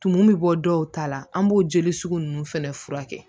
Tumu bɛ bɔ dɔw ta la an b'o jeli sugu ninnu fɛnɛ furakɛ